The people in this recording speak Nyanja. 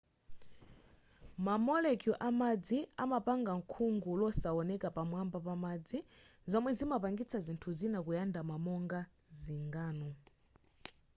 ma molecule amadzi amapanga khungu losawoneka pamwamba pamadzi zomwe zimapangisa zinthu zina kuyandama monga zingano